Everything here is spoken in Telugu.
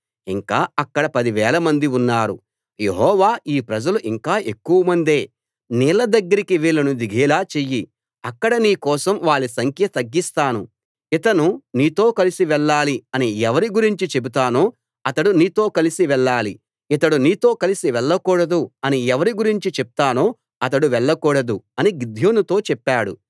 ఇంకా అక్కడ పదివేలమంది ఉన్నారు యెహోవా ఈ ప్రజలు ఇంకా ఎక్కువమందే నీళ్ల దగ్గరికి వాళ్లను దిగేలా చెయ్యి అక్కడ నీ కోసం వాళ్ల సంఖ్య తగ్గిస్తాను ఇతను నీతో కలిసి వెళ్ళాలి అని ఎవరి గురించి చెబుతానో అతడు నీతో కలిసి వెళ్ళాలి ఇతడు నీతో కలిసి వెళ్లకూడదు అని ఎవరి గురించి చెప్తానో అతడు వెళ్ళకూడదు అని గిద్యోనుతో చెప్పాడు